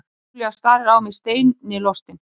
Júlía starir á mig steinilostin.